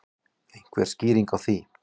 Einhver skýring á því?